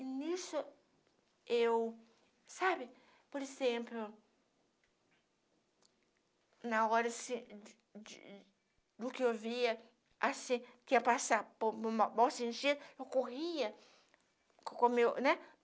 E nisso eu, sabe, por exemplo, na hora assim de do que eu via, assim, que ia passar por uma bolsa de gelo, eu corria com o meu, né?